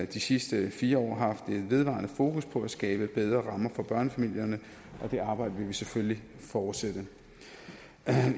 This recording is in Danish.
de sidste fire år haft et vedvarende fokus på at skabe bedre rammer for børnefamilierne og det arbejde vil vi selvfølgelig fortsætte